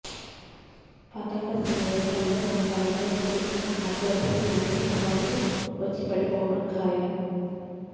పతాక సన్నివేశాల్లో తన కళ్లల్లో చూపించిన ఆర్ధ్రతకి మరిన్ని అవార్డులు వచ్చి పడిపోవడం ఖాయం